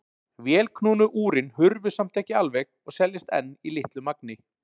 Vélknúnu úrin hurfu samt ekki alveg og seljast enn í litlu magni.